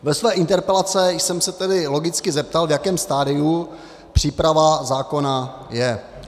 Ve své interpelaci jsem se tedy logicky zeptal, v jakém stadiu příprava zákona je.